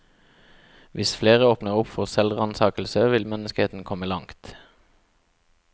Hvis flere åpner opp for selvransakelse, vil menneskeheten komme langt.